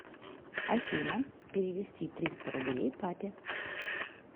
афина перевести триста рублей папе